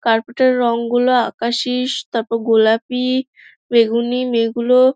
carpet -এর রং গুলো আকাশি তারপর গোলাপি বেগুনি মেয়েগুলো--